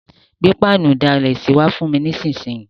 Gbé pánù ìdalẹ̀sí wa fùn mi nísinsìn yi